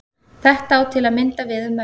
Þetta á til að mynda við um menn.